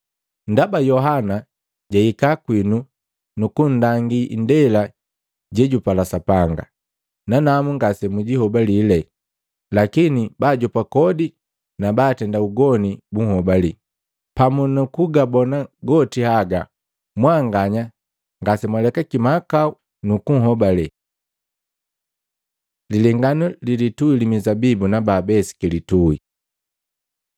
Ndaba Yohana jwahika kwinu nukunndangi ndela jejupala Sapanga, nanamu ngasemunhobalile, lakini baajopa kodi na baatenda ugoni bunhobali. Pamu na kugabona goti haga mwanganya ngasemwalekaki mahakau nukunhobale.” Lilenganu lilitui li mizabibu na babesiki litui Maluko 12:1-12; Luka 20:9-19